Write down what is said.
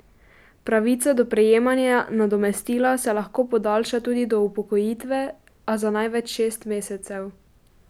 Pravica do prejemanja nadomestila se lahko podaljša tudi do upokojitve, a za največ šest mesecev.